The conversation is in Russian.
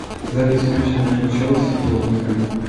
запись матча между челси и тоттенхэмом